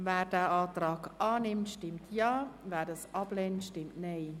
Wer den Antrag annimmt, stimmt Ja, wer diesen ablehnt, stimmt Nein.